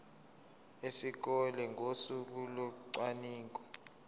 esikoleni ngosuku locwaningo